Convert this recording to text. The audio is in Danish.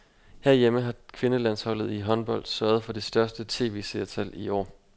Herhjemme har kvindelandsholdet i håndbold sørget for det største tv-seertal i år.